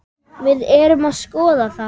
Við erum að skoða það.